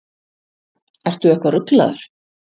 Ertu eitthvað ruglaður?